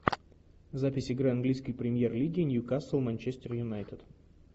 запись игры английской премьер лиги ньюкасл манчестер юнайтед